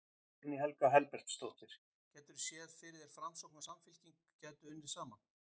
Guðný Helga Herbertsdóttir: Gætirðu séð fyrir þér að Framsókn og Samfylking gætu unnið saman?